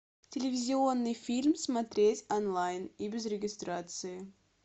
телевизионный фильм смотреть онлайн и без регистрации